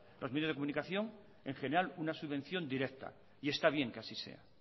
los medios de comunicación en general una subvención directa y está bien que así sea